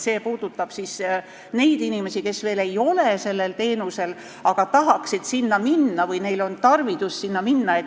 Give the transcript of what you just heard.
See puudutab neid inimesi, kes veel ei saa seda teenust, aga tahaksid seda saada või neil on tarvidus seda saada.